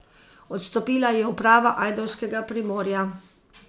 Odstopila je uprava ajdovskega Primorja.